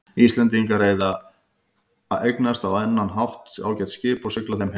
Íslendingar eða eignast á annan hátt ágæt skip og sigla þeim heim.